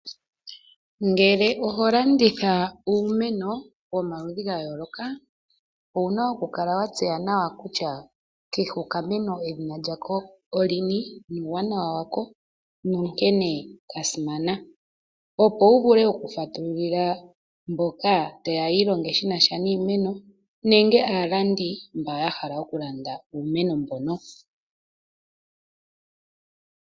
Ngele oho landitha uumeno wo maludhi ga yooloka, owu na oku kala wa tseya nawa kutya kehe okameno edhina lyako olini ,nuuwanawa wako nankene kasimana, opo wuvule oku fatululila mboka tayeya yiilonge shinasha niimeno nenge aalandi mbo ya hala oku landa uumeno mbono.